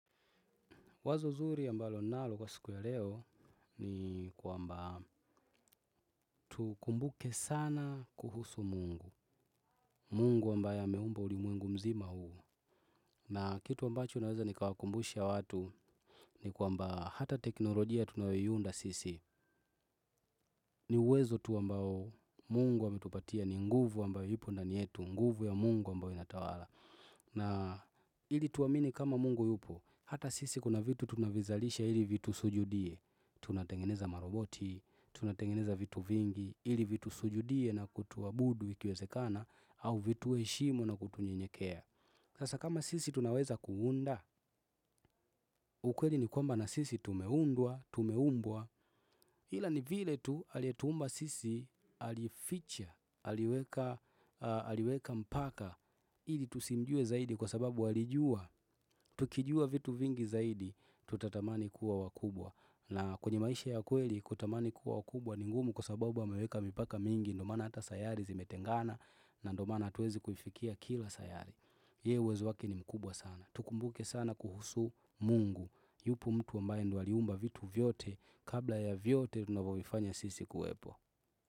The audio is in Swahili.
Wazo zuri mbalo ninalo kwa siku ya leo ni kwamba tukumbuke sana kuhusu mungu. Mungu ambaye ameumba ulimuengu mzima huu. Na kitu ambacho naweza nikawakumbusha watu ni kwamba hata teknolojia tunayoiunda sisi. Ni uwezo tu ambao mungu ametupatia ni nguvu ambayo ipo ndani yetu, nguvu ya mungu ambayo inatawala. Na ili tuamini kama mungu yupo, hata sisi kuna vitu tunavizalisha ili vitu sujudie. Tunatengeneza maroboti, tunatengeneza vitu vingi, ili vitu sujudie na kutuabudu ikiwezekana au vituheshimu na kutunyenyekea hasa kama sisi tunaweza kuunda, ukweli ni kwamba na sisi tumeundwa, tumeumbwa ila ni vile tu aliyetuumba sisi, alificha, aliweka mpaka, ili tusimjue zaidi kwa sababu alijua, tukijua vitu vingi zaidi, tutatamani kuwa wakubwa. Na kwenye maisha ya kweli kutamani kuwa wakubwa ningumu kwa sababu wameweka mipaka mingi. Ndo maana hata sayari zimetengana na ndo maana hatuwezi kuifikia kila sayari. Yeye uwezo yake ni mkubwa sana. Tukumbuke sana kuhusu mungu. Yupo mtu ambaye ndo aliumba vitu vyote kabla ya vyote tunavyofanya sisi kuwepo.